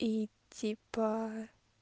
и типа